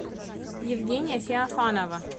евгения феофанова